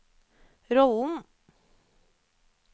rollen